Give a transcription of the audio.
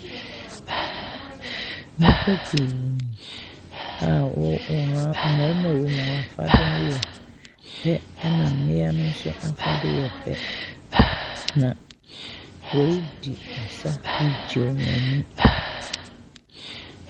Nnipa pii a wɔ wɔn a mmarima a ɛwɔ mu wɔn afade yɛ pɛ na mmaa ne nso wɔn afade yɛ pɛ, na wɔredi asa regye wɔn ani.